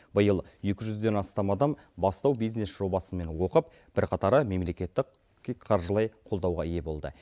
биыл екі жүзден астам адам бастау бизнес жобасымен оқып бірқатары мемлекеттік қаржылай қолдауға ие болды